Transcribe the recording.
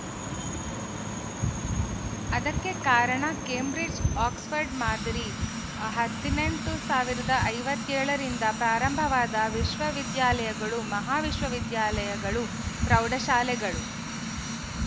ಅದಕ್ಕೆ ಕಾರಣ Cambridge Oxford ಮಾದರಿ ಹದಿನೆಂಟು ಸಾವಿರ ಐವತ್ತ್ ಏಳು ರಿಂದ ಪ್ರಾರಂಭವಾದ ವಿಶ್ವವಿದ್ಯಾಲಯಗಳು ಮಹಾವಿದ್ಯಾಲಯಗಳು ಪ್ರೌಢ ಶಾಲೆಗಳು